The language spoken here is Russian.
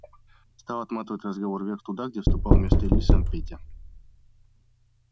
стал отматывать разговор вверх туда где вступал вместо ильи сам петя